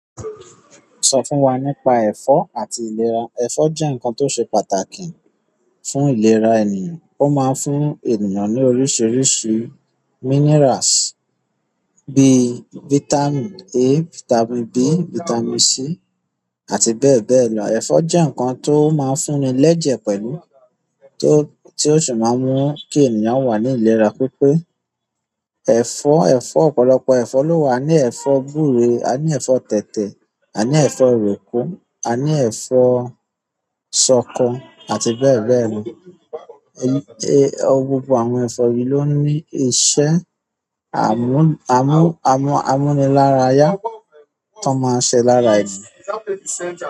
Sọ fún wa nípa ẹ̀fọ́ àti ìlera. Ẹ̀fọ́ jẹ́ nǹkan tó ṣe pàtàkì fún ìlera ènìyàn. Ó máa ń fún ènìyàn ní oríṣiríṣi minerals bíi vitamin a, vitamin B, vitamin C àti bẹ́ẹ̀ bẹ́ẹ̀ lọ. Ẹ̀fọ́ jẹ́ nǹkan tó máa ń fúnni lẹ́jẹ̀ pẹ̀lú tó, ti o sì máa ń mú kí ènìyàn wà ní ìlera. Pípé ẹ̀fọ́, ẹ̀fọ́ ọ̀pọ̀lọpọ̀ ẹ̀fọ́ ló wà. A ní ẹ̀fọ́ gbure, a ní ẹ̀fọ́ tètè, a ní ẹ̀fọ́ roko, a ní ẹ̀fọ́ ṣọko àti bẹ́ẹ̀ bẹ́ẹ̀ lọ. E, gbogbo àwọn ẹ̀fọ́ yìí ló ní iṣẹ́ àmú-àmú-àmu-àmúnilárayá tó máa ṣe lára ènìyàn.